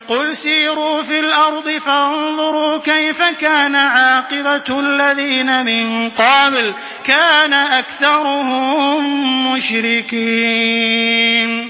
قُلْ سِيرُوا فِي الْأَرْضِ فَانظُرُوا كَيْفَ كَانَ عَاقِبَةُ الَّذِينَ مِن قَبْلُ ۚ كَانَ أَكْثَرُهُم مُّشْرِكِينَ